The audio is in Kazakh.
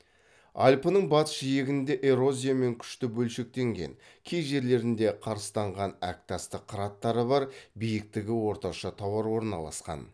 альпінің батыс жиегінде эрозиямен күшті бөлшектенген кей жерлерінде карыстанған әктасты қыраттары бар биіктігі орташа таулар орналасқан